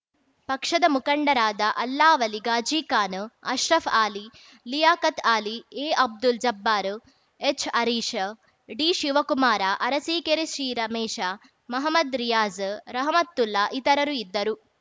ಪಕ್ಷದ ಮುಖಂಡರಾದ ಅಲ್ಲಾವಲಿ ಘಾಜಿಖಾನ್‌ ಅಶ್ರಫ್‌ ಅಲಿ ಲಿಯಾಖತ್‌ ಅಲಿ ಎಅಬ್ದುಲ್‌ ಜಬ್ಬಾರ್‌ ಎಚ್‌ಹರೀಶ ಡಿಶಿವಕುಮಾರ ಅರಸೀಕೆರೆ ಸಿರಮೇಶ ಮಹಮ್ಮದ್‌ ರಿಯಾಜ್‌ ರಹಮತ್ತುಲ್ಲಾ ಇತರರು ಇದ್ದರು